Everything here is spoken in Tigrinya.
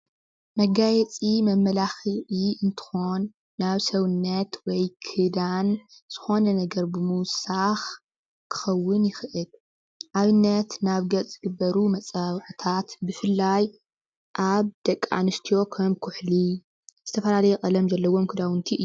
መጋየፂ መመላክዒ እንትኾን ናብ ሰውነት ወይ ክዳን ዝኾነ ነገር ብምዉሳኽ ክኽዉን ይኽእል ።ኣብነት ናብ ገፅ ዝግበሩ መፀባበቅታት ብፍላይ ኣብ ደቂ ኣንስትዮ ከም ኩሕሊ ዝተፈላለየ ቀለም ዘለዎም ክዳዉንቲ እዮም።